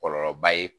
Kɔlɔlɔba ye